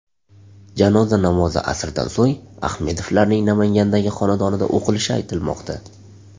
Janoza namozi asrdan so‘ng Ahmedovlarning Namangandagi xonadonida o‘qilishi aytilmoqda.